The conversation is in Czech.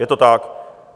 Je to tak.